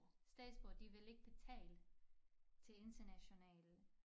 Statsborgere de vil ikke betale til internationale